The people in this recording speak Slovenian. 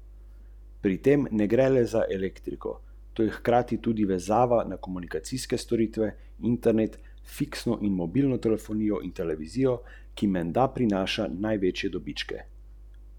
Osveščenost je predpogoj za delovanje v smeri energetske učinkovitosti.